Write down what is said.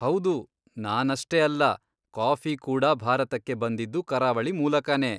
ಹೌದು, ನಾನಷ್ಟೇ ಅಲ್ಲ, ಕಾಫಿ ಕೂಡ ಭಾರತಕ್ಕೆ ಬಂದಿದ್ದು ಕರಾವಳಿ ಮೂಲಕಾನೇ.